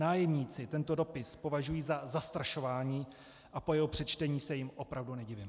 Nájemníci tento dopis považují za zastrašování a po jeho přečtení se jim opravdu nedivím.